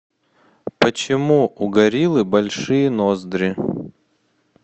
почему у гориллы большие ноздри